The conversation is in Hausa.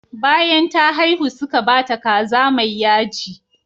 Bayan ta haihu suka ba ta kaza mai yaji.